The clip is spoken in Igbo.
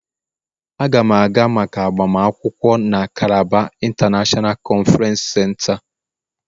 Aga m aga maka agbamakwụkwọ na Calabar international conference center.